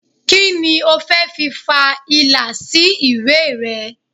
Kí ni o fẹ́ fi fa ìlà sí ìwé rẹ?